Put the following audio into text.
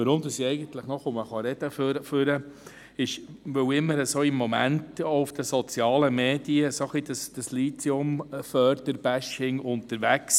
Weshalb ich trotzdem noch spreche, ist, weil im Moment auch in den sozialen Medien das «Bashing» der Lithiumförderung auftaucht.